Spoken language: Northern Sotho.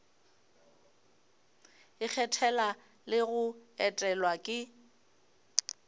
ikgethela le go etelwa ke